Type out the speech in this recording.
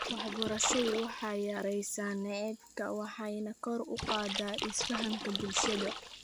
Waxbarashadu waxay yaraysaa nacaybka waxayna kor u qaadaa isfahamka bulshada .